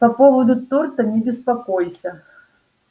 по поводу торта не беспокойся